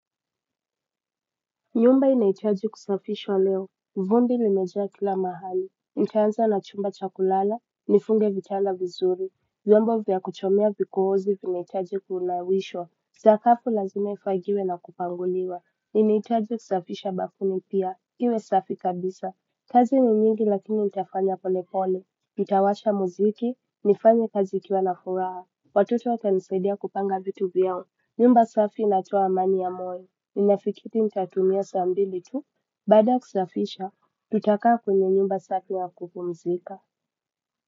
Nyumba inahitaji kusafishwa leo vumbi limejaa kila mahali nitaanza na chumba cha kulala nifunge vitanda vizuri vyombo vya kutemea vikohozi vinahitaji kunawishwa sakafu lazima ifagiwe na kupanguliwa ninaitaji kusafisha bafuni pia iwe safi kabisa kazi ni nyingi lakini nitafanya pole pole nitawasha muziki nifanyebkazi nikiwa na furaha watoto watanisaidia kupanga vitu vyao nyumba safi inatoa amani ya moyo. Ninafikiri nitatumia saa mbili tu baada kusafisha tutakaa kwenye nyumba safi na kupumzika.